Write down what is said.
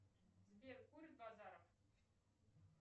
сбер курит базаров